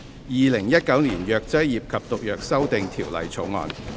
《2019年藥劑業及毒藥條例草案》。